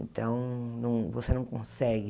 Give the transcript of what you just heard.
Então, não você não consegue...